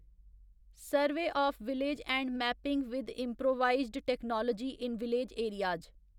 survey of village and mapping with improvised technology in village areas